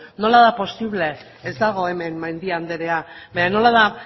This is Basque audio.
nola da posible ez dago hemen mendia andrea baina nola da